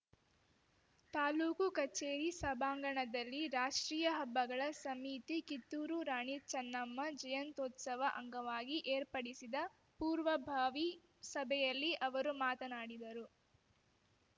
ತಾಲೂಕು ಕಚೇರಿ ಸಭಾಂಗಣದಲ್ಲಿ ರಾಷ್ಟ್ರೀಯ ಹಬ್ಬಗಳ ಸಮಿತಿ ಕಿತ್ತೂರು ರಾಣಿ ಚನ್ನಮ್ಮ ಜಯಂತ್ಯುತ್ಸವ ಅಂಗವಾಗಿ ಏರ್ಪಡಿಸಿದ ಪೂರ್ವಭಾವಿ ಸಭೆಯಲ್ಲಿ ಅವರು ಮಾತನಾಡಿದರು